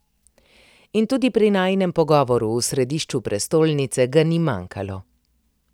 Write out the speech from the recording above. In tudi pri najinem pogovoru v središču prestolnice ga ni manjkalo.